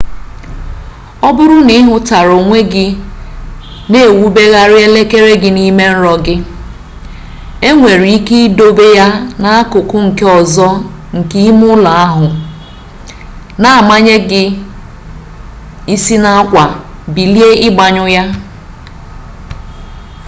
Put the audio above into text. ọ bụrụ na ị hụtara onwe gị na-ewubergharị elekere gị n'ime nrọ gị e nwere ike idobe ya n'akụkụ nke ọzọ nke ime ụlọ ahụ na-amanye gị isi n'akwa bilie ịgbanyụ ya